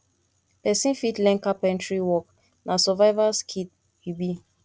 pesin fit learn carpentary work na survival skill e be